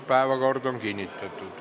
Päevakord on kinnitatud.